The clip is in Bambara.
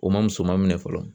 U ma muso maminɛ fɔlɔ